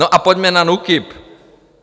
No a pojďme na NÚKIB.